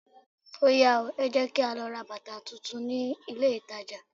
Óyá o, ẹ jẹ́ kí á lọ ra bàtà tún tún ní ilé ìtajà.